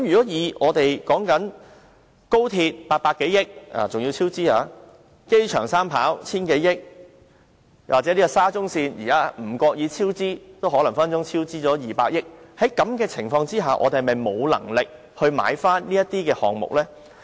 以我們興建高鐵需800多億元，而且更出現超支；興建機場三跑需 1,000 多億元；又或興建沙中線的超支隨時也高達200億元的情況下，我們是否沒有能力購回這些項目呢？